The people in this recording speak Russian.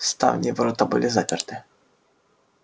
ставни и ворота были заперты